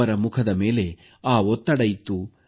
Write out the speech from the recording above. ಅವರ ಮುಖದ ಮೇಲೆ ಆ ಒತ್ತಡ ಇತ್ತು